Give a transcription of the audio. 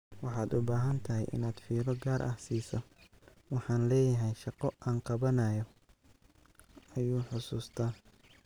"Waxaad u baahan tahay inaad fiiro gaar ah siiso, waxaan leeyahay shaqo aan qabanayo," ayuu xusuustaa.